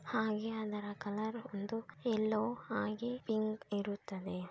ಹಾಗೆ ಅದರ ಕಲರ್ ಒಂದು ಯಲ್ಲೋ ಹಾಗೆ ಪಿಂಕ್ ಇರುತ್ತದೆ.